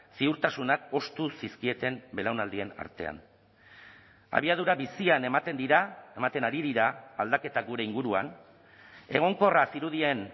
ziurtasunak hoztu zizkieten belaunaldien artean abiadura bizian ematen dira ematen ari dira aldaketa gure inguruan egonkorra zirudien